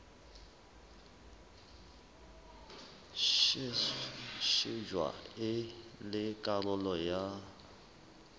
shejwa e le karolo ya